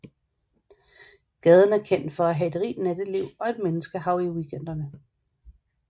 Gaden er kendt for at have et rigt natteliv og menneskehav i weekenderne